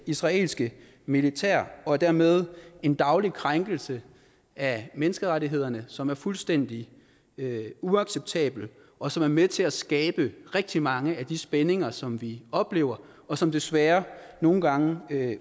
israelske militær og er dermed en daglig krænkelse af menneskerettighederne som er fuldstændig uacceptabel og som er med til at skabe rigtig mange af de spændinger som vi oplever og som desværre nogle gange